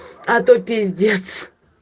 а то пиздец